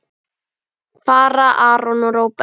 Fara Aron og Róbert?